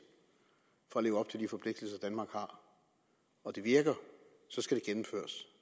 for at leve op til de forpligtelser danmark har og det virker